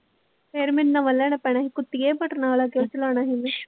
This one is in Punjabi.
ਫਿਰ ਮੈਨੂੰ ਨਵਾਂ ਲੈਣਾ ਪੈਣਾ ਸੀ ਬਟਨਾਂ ਵਾਲਾ ਕਿਉਂ ਚਲਾਉਣਾ ਸੀ ਮੈਂ।